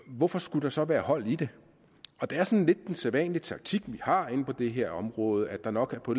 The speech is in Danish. hvorfor skulle der så være hold i det det er sådan lidt den sædvanlige taktik vi har inde på det her område at der nok på